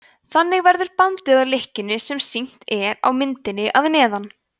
þannig verður bandið að lykkjunni sem sýnd er á myndinni að neðan